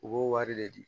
U b'o wari de di